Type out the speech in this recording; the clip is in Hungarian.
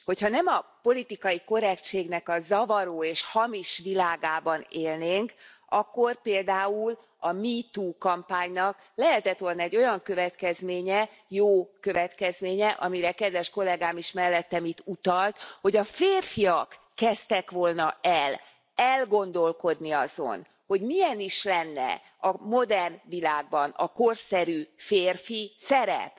Ha nem a politikai korrektségnek a zavaró és hamis világában élnénk, akkor például a Me too kampánynak lehetett volna olyan következménye jó következménye, amire kedves kollégám is mellettem itt utalt hogy a férfiak kezdtek volna el gondolkodni azon, hogy milyen is lenne a modern világban a korszerű férfiszerep.